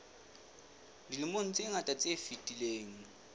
dilemong tse ngata tse fetileng